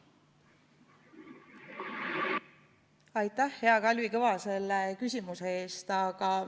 Aitäh, hea Kalvi Kõva, selle küsimuse eest!